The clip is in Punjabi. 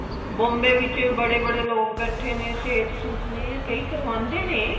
Bombay ਵਿੱਚ ਬੜੇ ਬੜੇ ਲੋਕ ਬੈਠੇ ਨੇ ਸੇਠ ਸੁਠ ਨੇ ਕਈ ਕਰਵਾਉਂਦੇ ਨੇ